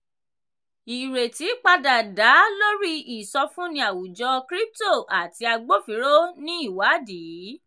ìrètí padà dá lórí ìsọfúnni àwùjọ crypto àti agbófinró ní ìwádìí.